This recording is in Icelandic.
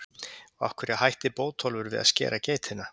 Og af hverju hætti Bótólfur við að skera geitina?